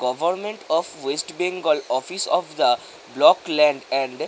government of West Bengal office of the block land and --